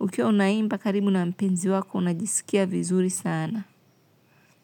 Ukiwa unaimba karibu na mpenzi wako, unajisikia vizuri sana.